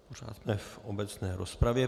Pořád jsme v obecné rozpravě.